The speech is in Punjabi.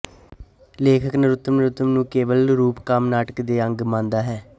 ਲੇਖਕ ਨਰੁੱਤਮ ਨਰੁਤਮ ਨੂੰ ਕੇਵਲ ਰੂਪਕਮ ਨਾਟਕ ਦੇ ਅੰਗ ਮੰਨਦਾ ਹੈ